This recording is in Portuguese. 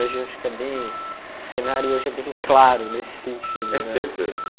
Hoje eu acho que é bem, o cenário hojé é bem claro nesse sentido. É sempre assim